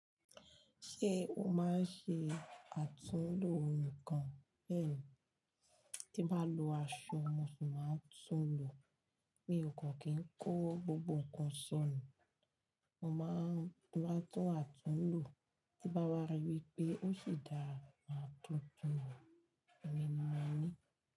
Ṣé o máa ń ṣe àtúnlo ohun kan bẹ́ẹ̀ tí bá lo aṣọ, mo sì máa ń tún lò. Mi ò kọ́ kí ń kó gbogbo nǹkan sọnù. Mo máa ń rí i bá tún àtúnlo tí bá rí wípé ó sì dáa, máa tún tún ọ̀. Èmi máa ń ní.